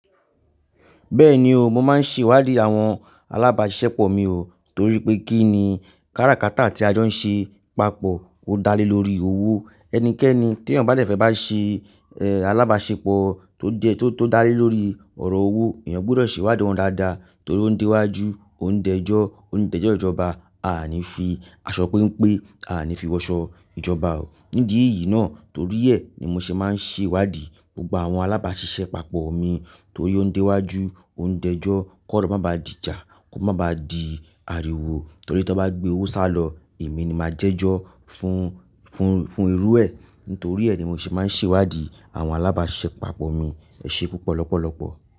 Bẹ́ẹ̀ni o, mo máa ń ṣèwádìí àwọn alábàáṣepọ̀ mi o, torí pé kí ni kárakáta tí a jọ ń ṣe papọ̀ ó dá lé lórí owó. Ẹnikẹ́ni tí èèyàn bá de fe bá ṣe, alábáṣepọ̀ tó jẹ, tó dá lé lórí ọ̀rọ̀ owó, èèyàn gbọ́dọ̀ ṣèwádìí won dáadáa torí ó ń dé iwájú, ó ń dẹjọ́, ó ń dẹ́jọ́ ìjọba, à ní fi aṣọ péńpé, a à ní fi wọṣọ ìjọba o. Nídi ìyí náà torí ẹ̀ ni mo ṣe máa ń ṣèwádìí gbogbo àwọn alábáṣiṣẹ́ papọ̀ mi torí ó ń dé iwájú, ó ń fẹ́jọ́ kó má ba di ìjà, kó má ba di ariwo torí tí wọ́n bá gbé owó sálọ, èmi ni màá jẹ́jọ́ fún, fún, fún irú ẹ. Nítorí ẹ ni mo ṣe máa ń ṣèwádìí àwọn alábásisepapo mi. Ẹ ṣe púpọ̀ lọ́pọ̀lọ́pọ̀.